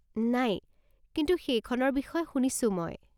নাই, কিন্তু সেইখনৰ বিষয়ে শুনিছো মই।